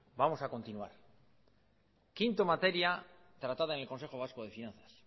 vamos a continuar quinta materia tratada en el consejo vasco de finanzas